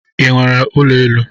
I nwere ụlọ elu?